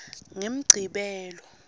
ngemgcibelo